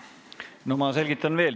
No ma selgitan veel.